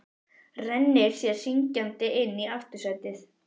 Rennir sér syngjandi inn í aftursætið.